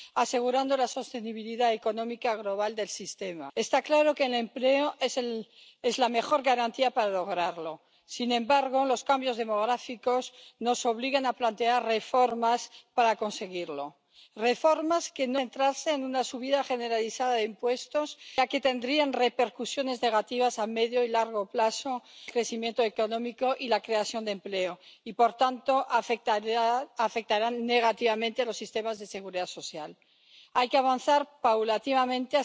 devaluado las condiciones de trabajo, los salarios y se ha destruido empleo, han sido los y las pensionistas quienes han soportado sobre sus espaldas el peso de la crisis. Hay soluciones subir salarios, luchar contra la brecha salarial, promover empleo estable, mejorar las fuentes de financiación, eliminar los topes de cotización a los salarios más altos. Es una cuestión de voluntad y objetivos. ¿Con quién estamos? ¿Con las entidades financieras que quieren hacer de las pensiones un negocio o estamos con las familias que las necesitan y las merecen?